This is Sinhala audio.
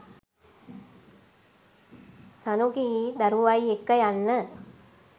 ශනුකියි දරුවයි එක්ක යන්න.